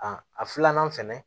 A a filanan fɛnɛ